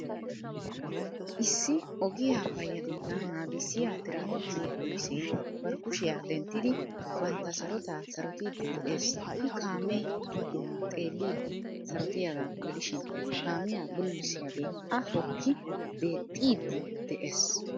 Issi ogiya payyatettaa naagissiya Tiraapikke polissee bari kushiya denttidi bantta sarotaa sarotiiddi de'ees. I kaame giddo xeellidi sarotiyagaa gidishin kaamiya bululissiyagee a hokkidi deexxiiddi de'ees.